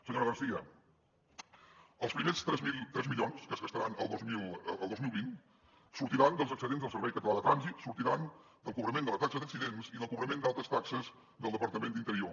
senyora garcía els primers tres milions que es gastaran el dos mil vint sortiran dels excedents del servei català de trànsit sortiran del cobrament de la taxa d’accidents i del cobrament d’altres taxes del departament d’interior